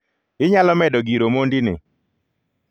Inyalo medo gir Omondi ni?